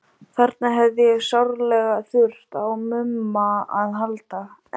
Þarna hefði ég sárlega þurft á Mumma að halda, en